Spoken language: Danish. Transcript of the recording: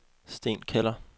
Sten Keller